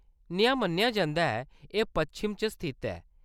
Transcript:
नेहा मन्नेआ जंदा ऐ, एह्‌‌ पश्चिम च स्थित ऐ।